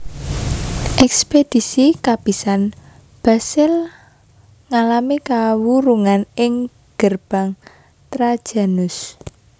Ekspedisi kapisan Basil ngalami kawurungan ing Gerbang Trajanus